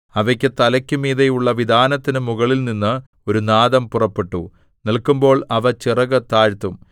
അവയുടെ തലയ്ക്കു മീതെയുള്ള വിതാനത്തിനു മുകളിൽനിന്ന് ഒരു നാദം പുറപ്പെട്ടു നില്ക്കുമ്പോൾ അവ ചിറകു താഴ്ത്തും